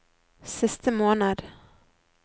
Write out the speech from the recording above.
siste måned